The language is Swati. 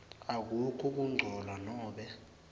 akukho kungcola nobe